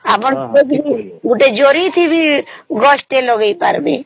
ଆମର ତ ଅଗୋଟେ ଜରି ଥି ବି ଗଛ ଗୋଟେ ଲଗେଇପାରିବେ